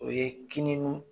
O ye